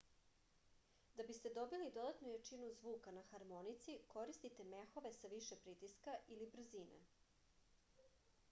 da biste dobili dodatnu jačinu zvuka na harmonici koristite mehove sa više pritiska ili brzine